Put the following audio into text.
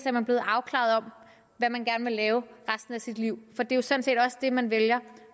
er man blevet afklaret om hvad man gerne vil lave resten af sit liv for det er jo sådan set også det man vælger